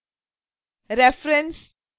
reference